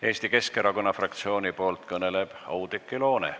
Eesti Keskerakonna fraktsiooni nimel kõneleb Oudekki Loone.